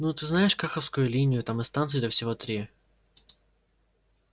ну ты знаешь каховскую линию там и станций-то всего три